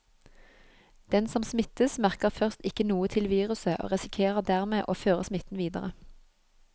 Den som smittes, merker først ikke noe til viruset og risikerer dermed å føre smitten videre.